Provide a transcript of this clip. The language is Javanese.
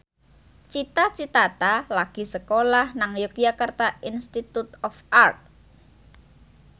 Cita Citata lagi sekolah nang Yogyakarta Institute of Art